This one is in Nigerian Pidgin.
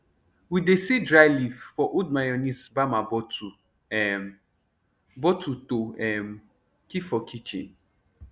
we dey seal dry leaf for old mayonnaise bamma bottle um bottle to um keep for kitchen